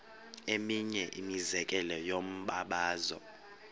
eminye imizekelo yombabazo